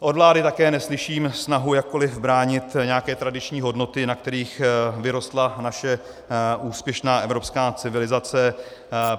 Od vlády také neslyším snahu jakkoliv bránit nějaké tradiční hodnoty, na kterých vyrostla naše úspěšná evropská civilizace.